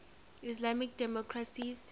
islamic democracies